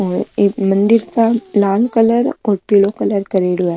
और एक मंदिर के लाल कलर और पीलो कलर करेड़ो है।